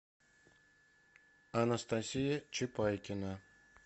анастасия чепайкина